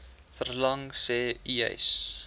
verlaag sê uys